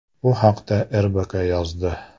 Bu haqda “RBK” yozdi .